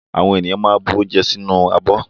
Àwọn ènìyàn máa ń bu oúnjẹ sínú abọ́.